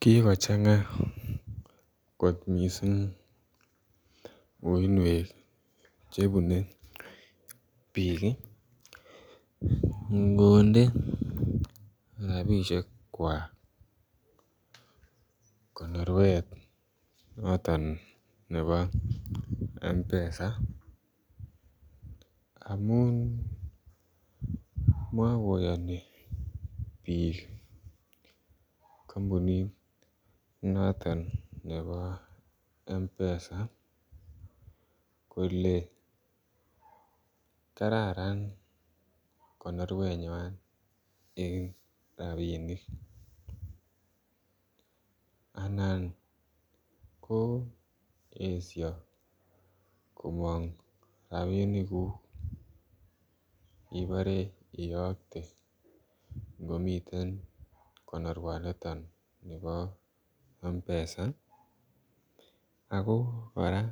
Kikochanga koot missing uinweek che bunei biik ingondee rapisheek kwaak konorweet notoon nebo mpesa amuun makoyanii biik kampunit notoon nebo mpesa ole kararan konorweet eng rapinik anan ko esha komaang rapinik ibare iyakte komiteen konorweet nitoon nibo mpesa ii ako kora